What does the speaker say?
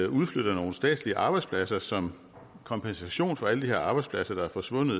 udflytter nogle statslige arbejdspladser som kompensation for alle de arbejdspladser der er forsvundet